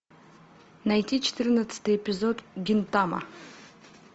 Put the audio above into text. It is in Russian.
найти четырнадцатый эпизод гинтама